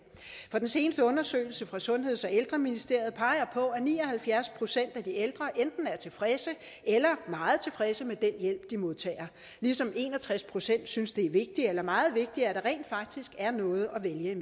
for den seneste undersøgelse fra sundheds og ældreministeriet peger på at ni og halvfjerds procent af de ældre enten er tilfredse eller meget tilfredse med den hjælp de modtager ligesom en og tres procent synes det er vigtigt eller meget vigtigt at der rent faktisk er noget at vælge